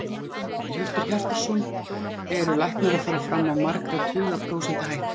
Hjörtur Hjartarson: Eru læknar að fara fram á margra tuga prósenta hækkun?